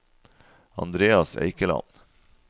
Andreas Eikeland